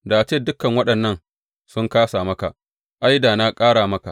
Da a ce dukan waɗannan sun kāsa maka, ai, da na ƙara maka.